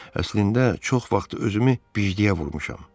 Əslində çox vaxt özümü bejdiyə vururam.